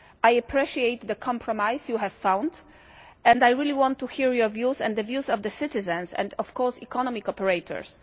I appreciate the compromise you have found and I really want to hear your views and the views of the citizens, and of course economic operators.